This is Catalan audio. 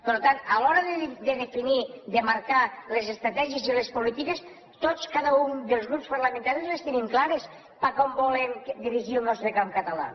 per tant a l’hora de definir de marcar les estratègies i les polítiques tots cada un dels grups parlamentaris les tenim clares cap a on volem dirigir el nostre camp català